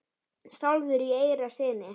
sjálfur í eyra syni?